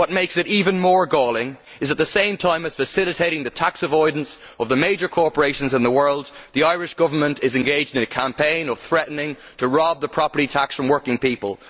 What makes it even more galling is that, at the same time as facilitating the tax avoidance of the major corporations in the world, the Irish government is engaged in a campaign of threatening to rob the property tax from working people.